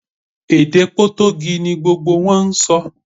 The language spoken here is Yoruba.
Èdè Potogí ni gbogbo wọn ń sọ